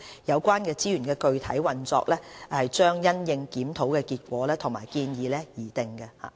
有關資源的具體運用將因應檢討結果和建議而定。